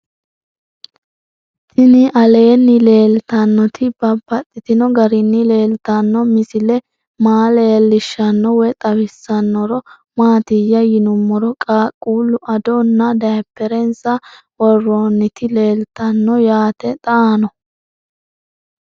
Tinni aleenni leelittannotti babaxxittinno garinni leelittanno misile maa leelishshanno woy xawisannori maattiya yinummoro qaaqullu adonna daaperensa woroonnitti leelittanno yaatte xaanno